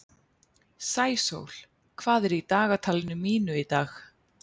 Sæsól, hvað er í dagatalinu mínu í dag?